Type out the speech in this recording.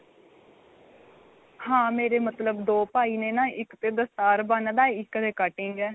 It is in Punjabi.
ਹਾਂ ਮੇਰੇ ਮਤਲਬ ਦੋ ਭਾਈ ਨੇ ਨਾ ਇੱਕ ਤੇ ਦਸਤਾਰ ਬੰਨਦਾ ਇੱਕ ਦੇ ਕਟਿੰਗ ਏ